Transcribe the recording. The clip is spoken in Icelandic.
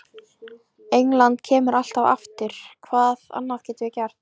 England kemur alltaf aftur, hvað annað getum við gert?